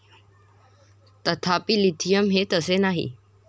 तथापि, लिथियम हे तसे नाही.